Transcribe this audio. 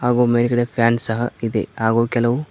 ಹಾಗೂ ಮೇಲ್ಗಡೆ ಫ್ಯಾನ್ ಸಹ ಇದೆ ಹಾಗೂ ಕೆಲವು--